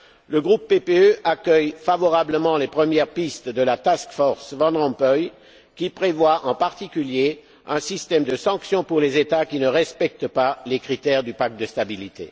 Le groupe PPE accueille favorablement les premières pistes de la task force Van Rompuy, qui prévoit en particulier un système de sanction pour les États qui ne respectent pas les critères du pacte de stabilité.